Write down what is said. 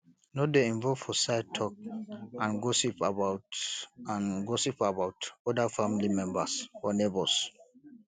no dey involve for side talk and gossip about and gossip about oda family members or neigbours